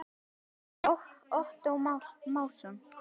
eftir Ottó Másson